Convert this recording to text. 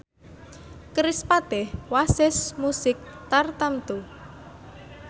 kerispatih wasis musik tartamtu